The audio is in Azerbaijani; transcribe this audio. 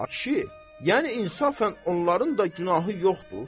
Ay kişi, yəni insafən onların da günahı yoxdur.